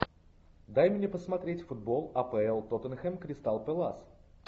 дай мне посмотреть футбол апл тоттенхэм кристал пэлас